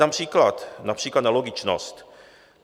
Dám příklad, například na logičnost.